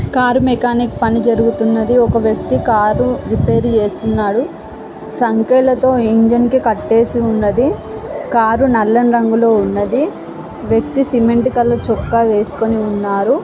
Car mechanic పని జరుగుతున్నది. ఒక వ్యక్తి కార్ రిపేర్ చేస్తున్నారు . సంకెళ్ళతో ఇంజిన్ కి కట్టేసి ఉన్నది. కారు నల్లని రంగులో ఉన్నది . వ్యక్తి సిమెంట్ కలర్ చొక్కా వేసుకుని ఉన్నాడు.